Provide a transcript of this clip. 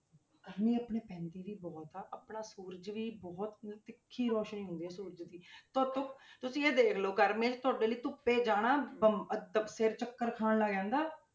ਗਰਮੀ ਆਪਣੇ ਪੈਂਦੀ ਵੀ ਬਹੁਤ ਆ, ਆਪਣਾ ਸੂਰਜ ਵੀ ਬਹੁਤ ਤਿੱਖੀ ਰੌਸ਼ਨੀ ਹੁੰਦੀ ਹੈ ਸੂਰਜ ਦੀ ਧੁੱਪ ਤੁਸੀਂ ਇਹ ਦੇਖ ਲਓ ਗਰਮੀਆਂ 'ਚ ਤੁਹਾਡੇ ਲਈ ਧੁੱਪੇ ਜਾਣਾ ਬੰ~ ਅਹ ਤਾਂ ਸਿਰ ਚੱਕਰ ਖਾਣ ਲੱਗ ਜਾਂਦਾ,